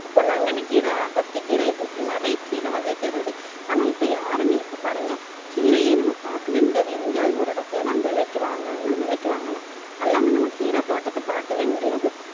இப்ப பொன்னாங்கண்ணிக் கீரை, அகத்திக் கீரை, இப்படி நிறைய கீரை வகை பெயர் இருக்கு. ஆனா இப்ப யாருமே இப்ப பாருங்க கீரையே நம்ம பார்க்கவே முடியாது எங்கயாவது ஒரு இடத்துலதான் விலைக்கு வாங்கணுன்னா விலைக்கு வாங்கலாம். எல்லாமே நம்ம கீரைத் தோட்டத்தை பாக்கவே முடியாது